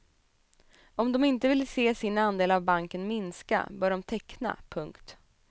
Om de inte vill se sin andel av banken minska bör de teckna. punkt